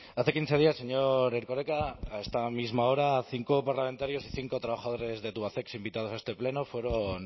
hace quince días señor erkoreka a esta misma hora cinco parlamentarios y cinco trabajadores de tubacex invitados a este pleno fueron